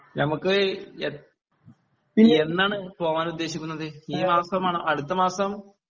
നമുക്ക് എ എന്നാണ് പോകാൻ ഉദ്ദേശിക്കുന്നത് ഈ മാസമാണോ അടുത്ത മാസം